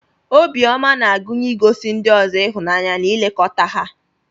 Obiọma na-agụnye igosi ndị ọzọ ịhụnanya na ilekọta ha.